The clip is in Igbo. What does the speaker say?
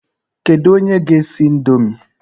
Kedu onye ga-esi ị̀ndómị́?